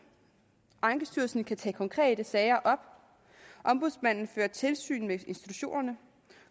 ankestyrelsen kan tage konkrete sager op ombudsmanden fører tilsyn med institutionerne